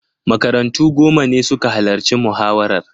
Makarantu goma ne suka halarci muhawarar.